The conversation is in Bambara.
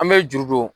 An bɛ juru don